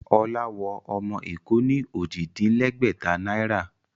Ọlá wọ ọmọ Èkó ní Ojì-dín-lẹ́gbẹ̀ta náírà